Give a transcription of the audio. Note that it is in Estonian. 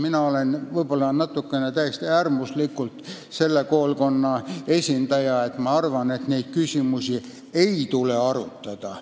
Mina olen natukene äärmuslikult sellise koolkonna esindaja, kes arvab, et neid küsimusi ei tuleks arutada.